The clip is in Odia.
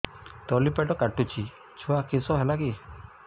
ତଳିପେଟ କାଟୁଚି ଛୁଆ କିଶ ହେଲା କି